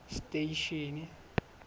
station